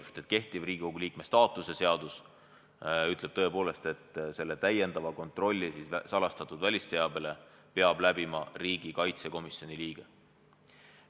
Sest kehtiv Riigikogu liikme staatuse seadus ütleb tõepoolest, et selle lisakontrolli salastatud välisteabele peab läbima riigikaitsekomisjoni liige.